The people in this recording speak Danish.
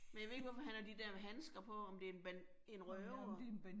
Men jeg ved ikke, hvorfor han har de der handsker på. Om det en røver